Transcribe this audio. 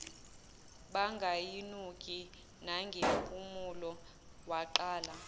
bangayinuki nangempumulo waqala